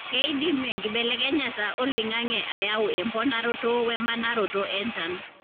keidim enkibelekenyata oloingange ayau emponaroto we manaroto enchan.